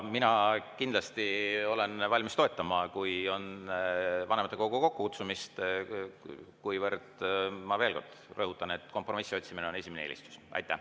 Mina kindlasti olen valmis toetama vanematekogu kokkukutsumist, kuivõrd, ma veel kord rõhutan, kompromissi otsimine on esimene eelistus.